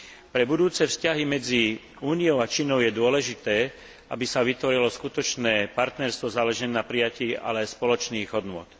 Pre budúce vzťahy medzi Úniou a Čínou je dôležité, aby sa vytvorilo skutočné partnerstvo založené na prijatí, ale aj spoločných hodnôt.